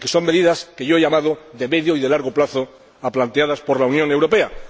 son medidas que yo he llamado de medio y de largo plazo planteadas por la Unión Europea.